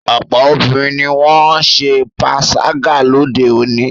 Ọ̀pọ̀ obìnrin ni wọ́n ń ṣe panṣágà lóde òní.